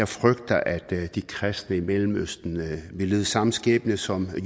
frygter at de kristne i mellemøsten vil lide samme skæbne som